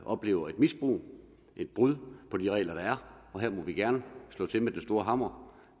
oplever et misbrug et brud på de regler der er for her må vi gerne slå til med den store hammer